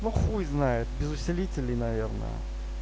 ну хуй знает без усилителей наверное